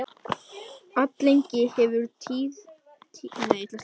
alllengi hefur tíðkast hér á landi að halda upp á áramót